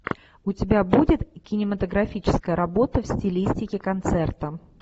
у тебя будет кинематографическая работа в стилистике концерта